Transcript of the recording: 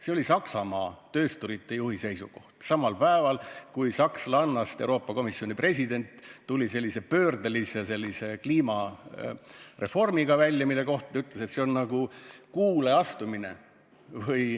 See oli Saksamaa töösturite juhi seisukoht, samal päeval, kui sakslannast Euroopa Komisjoni president tuli sellise pöördelise kliimareformiga välja, mille kohta ta ütles – kuidas see oligi?